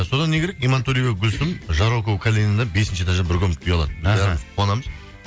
содан не керек имантөреева гүлсім жарокова калининадан бесінші этаждан бір комнаталы үй алады бәріміз қуанамыз